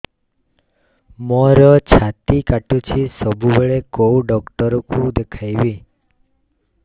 ମୋର ଛାତି କଟୁଛି ସବୁବେଳେ କୋଉ ଡକ୍ଟର ଦେଖେବି